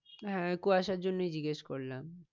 হ্যাঁ কুয়াশার জন্যই জিজ্ঞেস করলাম।